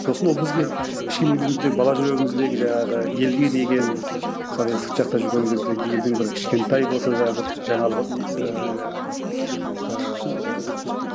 сосын ол бізге кішкене кезімізде бала жүрегіміздегі жаңағы елге деген мысалы енді сырт жақта жүрген кезде елдің бір кішкентай болса да бір жаңалығын ыыы жаңағы ыыы